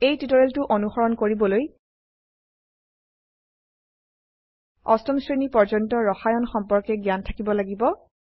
এই টিউটোৰিয়ালটো অনুসৰণ কৰিবলৈ অষ্টম শ্ৰেণী পৰ্যন্ত ৰসায়ন কেমেস্ট্ৰি সম্পৰ্কে জ্ঞান থাকিব লাগিব